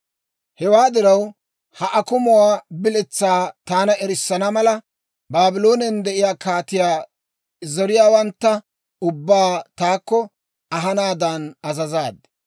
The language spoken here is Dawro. Hewaa diraw, ha akumuwaa biletsaa taana erissana mala, Baabloonen de'iyaa kaatiyaa zoriyaawantta ubbaa taakko ahanaadan azazaad.